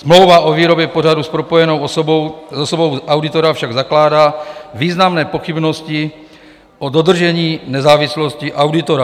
"Smlouva o výrobě pořadu s propojenou osobou auditora však zakládá významné pochybnosti o dodržení nezávislosti auditora.